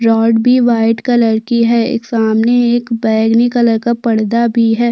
Rod भी white colour की है एक सामने एक बैगनी कलर का पर्दा भी है।